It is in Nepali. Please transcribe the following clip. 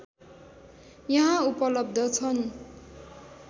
यहाँ उपलब्ध छन्